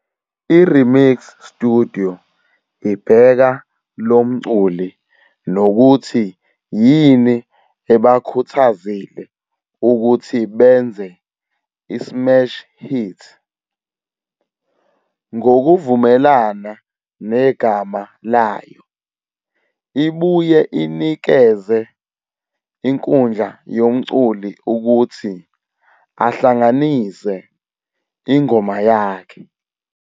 I-Remix Studio ibheka lo mculi nokuthi yini ebakhuthazile ukuthi benze i-smash hit. Ngokuvumelana negama layo, ibuye inikeze inkundla yomculi ukuthi "ahlanganise" ingoma yakhe.